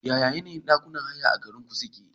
Yaya ayyukan ɗakunan haya a garinku suke?